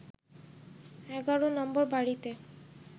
১১ নম্বর বাড়িতে